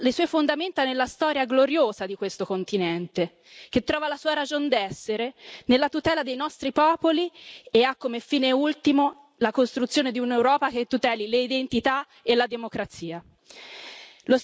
invece, basa le sue fondamenta nella storia gloriosa di questo continente, che trova la sua ragion d'essere nella tutela dei nostri popoli e ha come fine ultimo la costruzione di un'Europa che tuteli le identità e la democrazia.